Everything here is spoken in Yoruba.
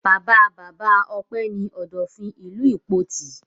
Bàbá-bàbá Ọpẹ́ ní Ọ̀dọ̀fin ìlú Ìpoti.